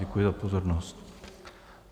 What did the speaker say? Děkuji za pozornost.